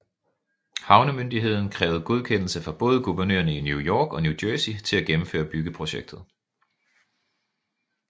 Havnemyndigheden krævede godkendelse fra både guvernørerne i New York og New Jersey til at gennemføre byggeprojektet